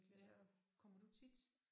Ja kommer du tit?